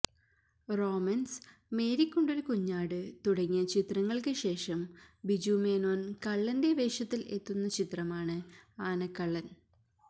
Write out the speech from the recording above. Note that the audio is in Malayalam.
റോമൻസ് മേരിക്കുണ്ടൊരു കുഞ്ഞാട് തുടങ്ങിയ ചിത്രങ്ങൾക്ക് ശേഷം ബിജു മേനോൻ കള്ളന്റെ വേഷത്തിൽ എത്തുന്ന ചിത്രമാണ് ആനക്കള്ളൻ